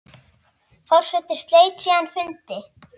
Forseti sleit síðan fundi.